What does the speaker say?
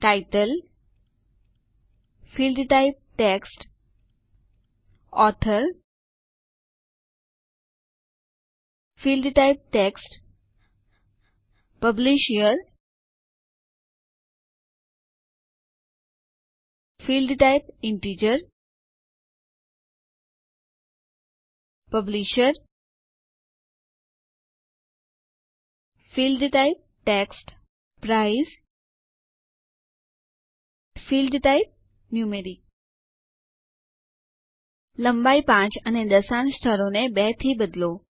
title field type text author field type text published year field type integer publisher field type text price field type numeric લંબાઈ 5 અને દશાંશ સ્થળોને 2 થી બદલો